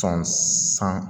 Sɔn san